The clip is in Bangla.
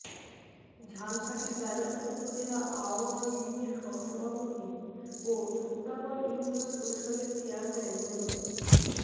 ঝালকাঠির রাজাপুর উপজেলা আওয়ামী লীগের সহসভাপতি ও শুক্তাগড় ইউনিয়ন পরিষদের চেয়ারম্যান মো